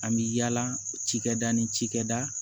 An bɛ yaala cikɛda ni cikɛda